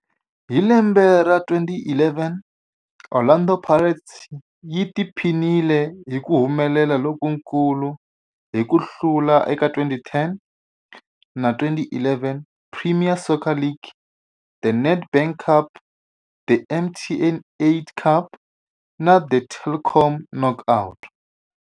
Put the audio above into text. Hi lembe ra 2011, Orlando Pirates yi tiphinile hi ku humelela lokukulu hi ku hlula eka 2010-11 Premier Soccer League, The Nedbank Cup, The MTN 8 Cup na The Telkom Knockout.